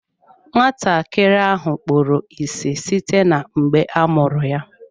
Nwatakịrị ahụ kpuru ịsị site mgbe a mụrụ ya.